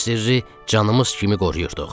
Bu sirri canımız kimi qoruyurduq.